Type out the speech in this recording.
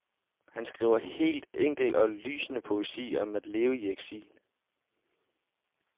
Han skriver helt enkel og lysende poesi om at leve i eksil.